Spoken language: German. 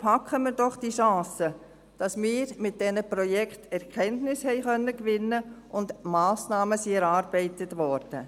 Packen wir doch die Chance, dass wir mit diesen Projekten Erkenntnisse gewinnen konnten und dass Massnahmen erarbeitet wurden: